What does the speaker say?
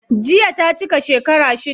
Jiya ta cika shekara shida.